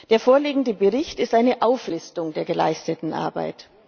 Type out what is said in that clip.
Der vorliegende Bericht ist eine Auflistung der geleisteten Arbeit.